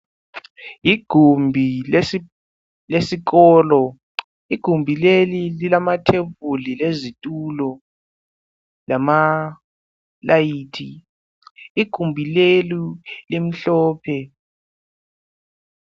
Igumbi lesikolo, igumbi leli lilama thebuli lezitulo lama layithi igumbi leli limhlophe.